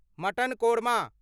mutton korma